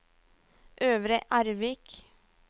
Øvre Ervik